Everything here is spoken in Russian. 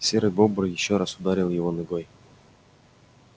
серый бобр ещё раз ударил его ногой